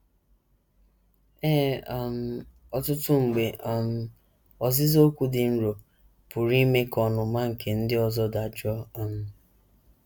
Ee, um ọtụtụ mgbe, um “ ọzịza okwu dị nro ” pụrụ ime ka ọnụma nke ndị ọzọ dajụọ um.